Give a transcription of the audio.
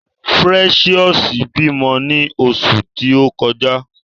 Precious bímọ ni oṣù ti o kọjá.